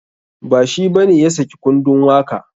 Ba shi bane ya saki kundun waka.